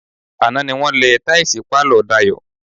Àná ni wọ́n lẹ táìsì pálọ̀ Dayọ̀.